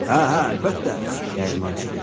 Hə, hə, əlbəttə, dəyirmançı dedi.